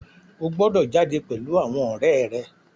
O gbọdọ̀ jáde pèlú àwọn ọ̀rẹ́ rẹ.